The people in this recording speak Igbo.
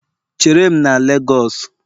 Chere m na Lagosu!